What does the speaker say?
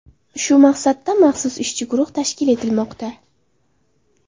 Shu maqsadda maxsus ishchi guruh tashkil etilmoqda.